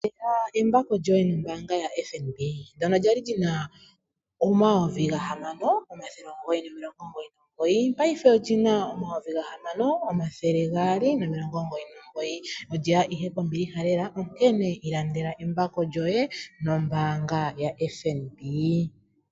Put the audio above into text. Ilandela embako lyoye nombaanga yaFNB lyono lyali lina N$ 6 999, paife olyina N$ 6 299. Olyeya ihe kombiliha lela onkene ilandela lyoye nombaanga yaFNB.